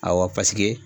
Awɔ paseke